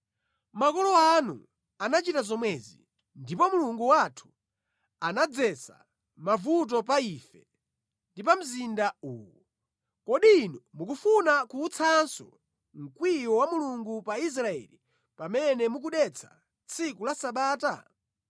Makolo anu anachita zomwezi ndipo Mulungu wathu anadzetsa mavuto pa ife ndi pa mzinda uwu. Kodi inu mukufuna kuwutsanso mkwiyo wa Mulungu pa Israeli pamene mukudetsa tsiku la Sabata?”